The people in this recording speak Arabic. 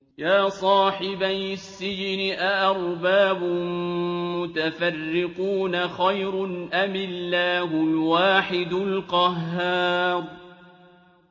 يَا صَاحِبَيِ السِّجْنِ أَأَرْبَابٌ مُّتَفَرِّقُونَ خَيْرٌ أَمِ اللَّهُ الْوَاحِدُ الْقَهَّارُ